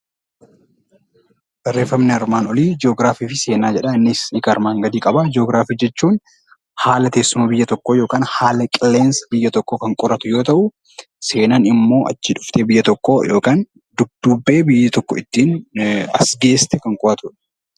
Barreeffamni armaan olii ji'ogiraafii fi seenaa jedha. Innis hiikaa armaan gadii qaba. Ji'ogiraafii jechuun haala teessuma biyya tokkoo yookiin haala qilleensa biyya tokkoo kan qoratu yoo ta'u, seenaan immoo achii dhuftee biyya tokkoo yookaan dudduubbee biyya tokko ittiin as geesse kan qo'atudha.